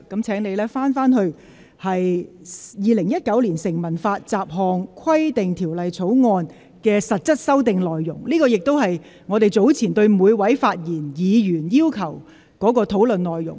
請你返回辯論的議題，即《2019年成文法條例草案》的實質修訂內容，而這亦是本會早前要求每位議員在發言時應針對的內容。